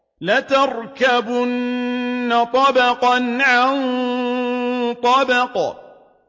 لَتَرْكَبُنَّ طَبَقًا عَن طَبَقٍ